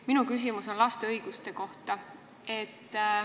Minu küsimus on laste õiguste kohta.